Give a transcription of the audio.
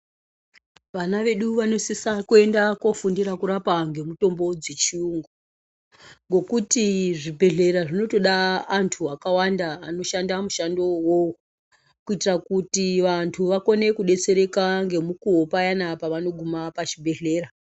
Vana vedu vanosise kuenda koofundira kurapa ngemitombo dzechiyungu ngekuti zvibhedhlera zvinotoda antu akawanda anoshanda mushando uwowo kuitira kuti vantu vakone kudetsereka ngemukuwo payaai pavanoguma pazvibhedhlera.